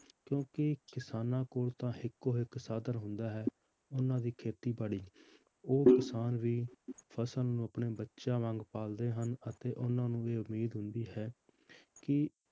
ਕਿਉਂਕਿ ਕਿਸਾਨਾਂ ਕੋਲ ਤਾਂ ਇੱਕੋ ਇੱਕ ਸਾਧਨ ਹੁੰਦਾ ਹੈ ਉਹਨਾਂ ਦੀ ਖੇਤੀਬਾੜੀ ਉਹ ਕਿਸਾਨ ਵੀ ਫਸਲ ਨੂੰ ਆਪਣੇ ਬੱਚਿਆਂ ਵਾਂਗ ਪਾਲਦੇ ਹਨ, ਅਤੇ ਉਹਨਾਂ ਨੂੰ ਵੀ ਉਮੀਦ ਹੁੰਦੀ ਹੈ ਕਿ